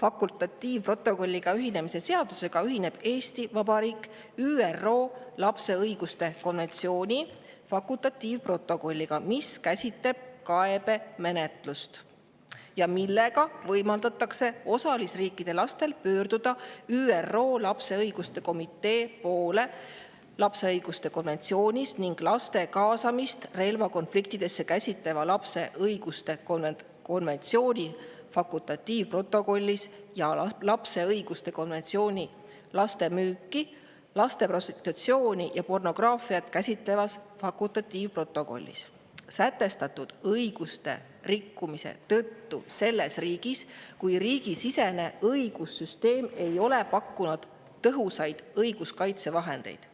fakultatiivprotokolliga ühinemise seadusega ühineb Eesti Vabariik ÜRO lapse õiguste konventsiooni fakultatiivprotokolliga, mis käsitleb kaebemenetlust ja millega võimaldatakse osalisriikide lastel pöörduda ÜRO lapse õiguste komitee poole lapse õiguste konventsioonis ning laste kaasamist relvakonfliktidesse käsitleva lapse õiguste konventsiooni fakultatiivprotokollis ja lapse õiguste konventsiooni laste müüki, laste prostitutsiooni ja pornograafiat käsitlevas fakultatiivprotokollis sätestatud õiguste rikkumise tõttu selles riigis, kui riigisisene õigussüsteem ei ole pakkunud tõhusaid õiguskaitsevahendeid.